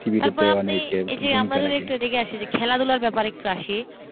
তারপর আপনি আমরা যদি একটু খেলাধুলার ব্যাপারে একটু আসি,